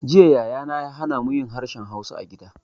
Jiya Yaya na ya hana mu yin harshen hausa a gida